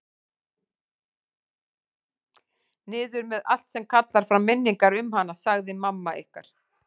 Niður með allt sem kallar fram minningar um hana, sagði mamma ykkar.